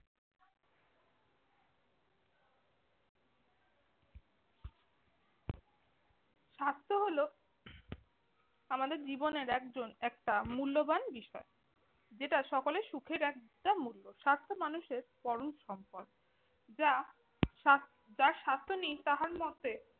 স্বাস্থ্য হল আমাদের জীবনের একজন একটা মূল্যবান বিষয়। যেটা সকলের সুখের একটা মুল্য। স্বার্থ মানুষের পরম সম্পদ। যা স্বা~ যার স্বাস্থ্য নেই তাহার মতে